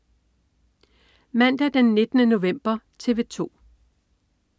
Mandag den 19. november - TV 2: